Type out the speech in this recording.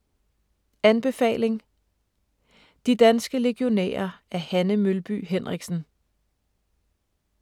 Anbefaling: De danske legionærer af Hanne Mølby Henriksen